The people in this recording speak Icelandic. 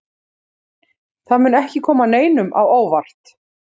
Það mun ekki koma neinum á óvart.